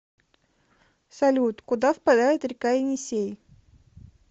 салют куда впадает река енисей